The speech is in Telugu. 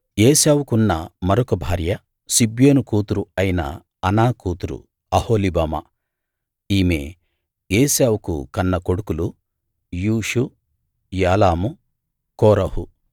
ఏశావుకున్న మరొక భార్య సిబ్యోను కూతురు అయిన అనా కూతురు అహొలీబామా ఈమె ఏశావుకు కన్న కొడుకులు యూషు యాలాము కోరహు